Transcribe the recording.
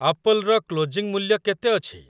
ଆପଲର closing ମୂଲ୍ୟ କେତେ ଅଛି?